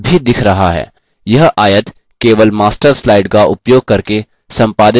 यह आयत केवल master slide का उपयोग करके संपादित किया जा सकता है